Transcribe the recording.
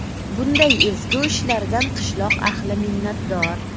Bunday ezgu ishlardan qishloq ahli minnatdor.